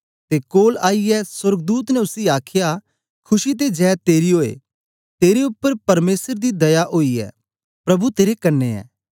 ते कोल आईयै सोर्गदूत ने उसी आखया खुशी ते जय तेरी ओऐ तेरे उपर परमेसर दी दया ओई ऐ प्रभु तेरे कन्ने ऐ